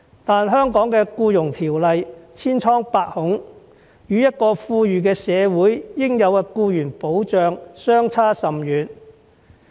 但是，香港的《僱傭條例》千瘡百孔，與一個富裕社會應有的僱員保障相差甚遠。